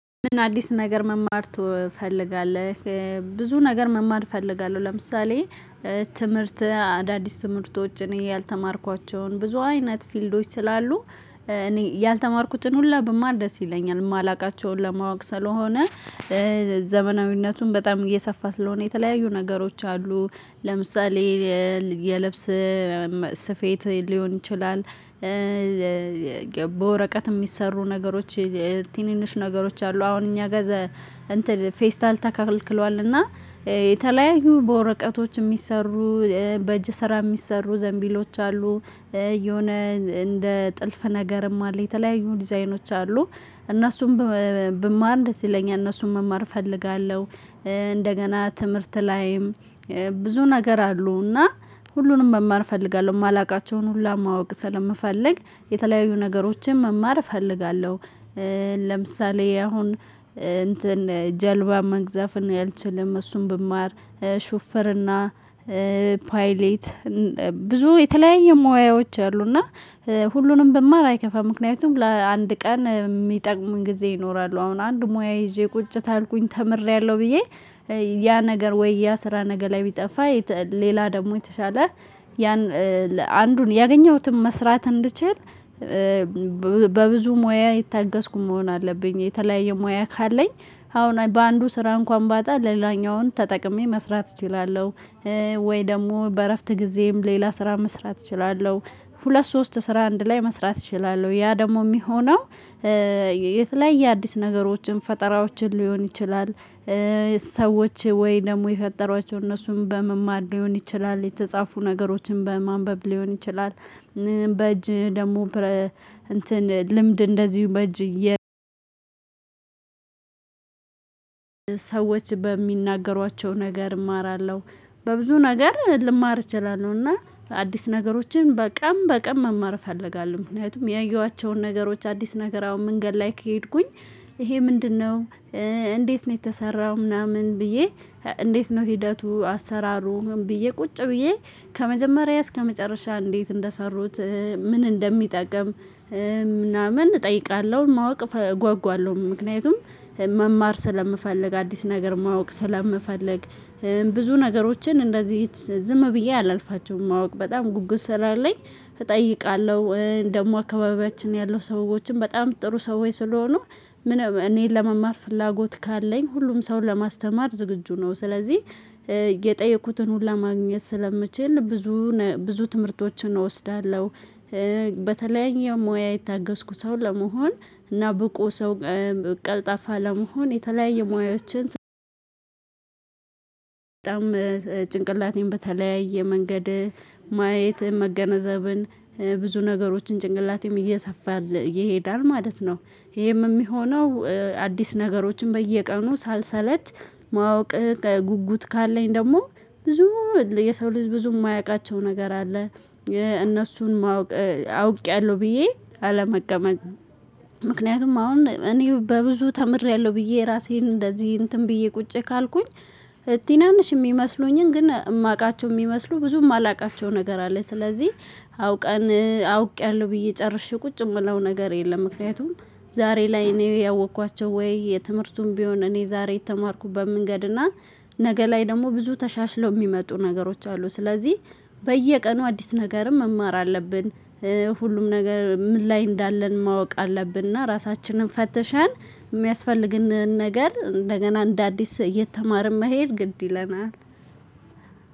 ምን አዲስ ነገር መማር ትፈልጋለህ? ብዙ ነገር መማር እፈልጋለሁ። ለምሳሌ ትምህርት አዳዲስ ትምህርቶች እኔ ያልተማርኳቸውን ብዙ አይነት ፊልዶች ስላሉ። እኔ ያልተማርኩትን ሁላ ማብር ደስ ይለኛል የማላውቃቸውን ለማወቅ ስለሆነ። ዘመናዊነቱን በጣም እየሰፋ ስለሆነ የተለያዩ ነገሮች አሉ። ለምሳሌ የልብስ ስፌት ሊሆን ይችላል። በወረቀት የሚሰሩ ነገሮች ትንንሽ ነገሮች አሉ። አሁን እኛ ጋር ፌስታል ተካክለዋልና። የተለያዩ በወረቀቶች የሚሰሩ በእጅ ስራ የሚሰሩ ዘንቢሎች አሉ። የሆነ እንደ ጥልፍ ነገርም አለ የተለያዩ ዲዛይኖች አሉ። እነሱም ብማር ደስ ይለኛል እነሱን መማር እፈልጋለሁ። እንደገና ትምህርት ላይም ብዙ ነገር አሉና ሁሉንም መማር እፈልጋለሁ የማላውቃቸውን ሁሉ ማወቅ ስለምፈልግ የተለያዩ ነገሮችን መማር እፈልጋለሁ። ለምሳሌ አሁን ጀልባ መቅዘፍ እኔ አልችልም። እሱን ብማር ሹፍርና ፓይሌት ብዙ የተለያየ ሙያዎች አሉ እና ሁሉንም ብማር አይከፋም። ምክንያቱም ለአንድ ቀን የሚጠቅም ጊዜ ይኖራል አሁን አንድ ሙያ ይዤ ቁጭ ካልኩኝ ተምሬያለሁ። ብዬ ያ ነገር ወይ ያ ስራ ነገ ላይ ቢጠፋ ሌላ ደግሞ የተሻለ ያን አንዱን ያገኘሁትም መስራት እንድችል በብዙ ሙያ የታገዝኩኝ መሆን አለብኝ። የተለያየ ሙያ ካለኝ አሁን በአንዱ ስራ እንኳን ባጣ በሌላኛውን ተጠቅሜ መስራት እችላለሁ። ወይ ደግሞ በእረፍት ጊዜየም ሌላ ስራ መስራት እችላለሁ። ሁለት ሶስት ስራ አንድ ላይ መስራት እችላለሁ ያ ደግሞ የሚሆነው የተለያየ አዲስ ነገሮችን ፈጠራዎችን ሊሆን ይችላል። ሰዎች ወይ ደግሞ የፈጠሯቸውን እነሱም በመማር ሊሆን ይችላል የተጻፉ ነገሮችን በማንበብ ሊሆን ይችላል። በእጅ ደግሞ እንትን ልምድ እንደዚሁ በእጅ ሰዎች በሚናገሯቸው ነገር እማራለሁ። በብዙ ነገር ልማር እችላለሁና አዲስ ነገሮችን በቀን በቀን መማር እፈልጋለሁ። ምክንያቱም ያየኋቸውን ነገሮች አዲስ ነገር አሁን መንገድ ላይ ከሄድኩኝ ይሄ ምንድነው? እንዴት ነው የተሰራው? ምናምን ብዬ እንዴት ነው ሂደቱ አሰራሩን ብዬ ቁጭ ብዬ ከመጀመሪያ እስከመጨረሻ እንዴት እንደሰሩት ምን እንደሚጠቅም ምናምን እጠይቃለሁ። ማወቅ እጓጓለሁ። ምክንያቱም መማር ስለምፈልግ አዲስ ነገር ማወቅ ስለምፈልግ። ብዙ ነገሮችን እንደዚህ ዝም ብዬ አላልፋቸውም ማወቅ በጣም ጉጉት ስላለኝ። እጠይቃለሁ ደግሞ አካባቢያችን ያለው ሰዎችን በጣም ጥሩ ሰዎች ስለሆኑ እኔን ለመማር ፍላጎት ካለኝ ሁሉም ሰውን ለማስተማር ዝግጁ ነው። ስለዚህ የጠየኩትን ሁሉ ማግኘት ስለምችል ብዙ ብዙ ትምህርቶችን እወስዳለሁ። በሙያ የታገዝኩ ሰው ለመሆን እና ብቁ ሰው ቀልጣፋ ለመሆን የተለያየ ሙያዎችን በጣም ጭንቅላቴን በተለያየ መንገድ ማየት መገነዘብን ብዙ ነገሮችን ጭንቅላቴም እየሰፋል ይሄዳል ማለት ነው። ይሄም የሚሆነው አዲስ ነገሮችን በየቀኑ ሳልሰለች ማወቅ ጉጉት ካለኝ ደግሞ ብዙ የሰው ልጅ ብዙ የማያውቃቸው ነገር አለ። እነሱን ማወቅ አውቄያለሁ ብዬ አለመቀመጥ ምክንያቱም አሁን እኔ በብዙ ተምሬያለሁ ብዬ ራሴን እንደዚህ እንትን ብዬ ቁጭ ካልኩኝ። ትናንሽ የሚመስሉኝን ግን የማውቃቸው የሚመስሉ ብዙም የማላውቃቸው ነገር አለ። ስለዚህ አውቀን አውቄያለሁ ብዬ ጨርሼ ቁጭ የምለው ነገር የለም። ምክንያቱም ዛሬ ላይ እኔ ያወቅኳቸው ወይ የትምህርቱን ቢሆን እኔ ዛሬ የተማርኩበት መንገድ እና ነገ ላይ ደግሞ ብዙ ተሻሽለው የሚመጡ ነገሮች አሉ። ስለዚህ በየቀኑ አዲስ ነገርም መማር አለብን። ሁሉም ነገር ምን ላይ እንዳለን ማወቅ አለብን እና ራሳችንን ፈተሸን የሚያስፈልግንን ነገር እንደገና እንደ አዲስ እየተማርን መሄድ ግድ ይለናል።